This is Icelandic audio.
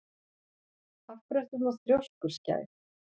Af hverju ertu svona þrjóskur, Skær?